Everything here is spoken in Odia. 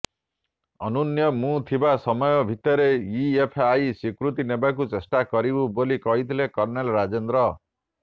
ଅନ୍ୟୁନ ମୁଁ ଥିବା ସମୟ ଭିତରେ ଇଏଫ୍ଆଇ ସ୍ୱୀକୃତି ନେବାକୁ ଚେଷ୍ଟା କରିବୁ ବୋଲି କହିଥିଲେ କର୍ନେଲ୍ ରାଜେନ୍ଦ୍ର